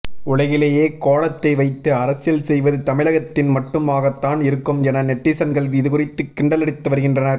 உலகிலேயே கோலத்தை வைத்து அரசியல் செய்வது தமிழகத்தில் மட்டுமாகத்தான் இருக்கும் என நெட்டிசன்கள் இதுகுறித்து கிண்டலடித்து வருகின்றனர்